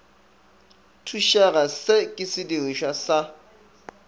thušega se ke sedirišwa sa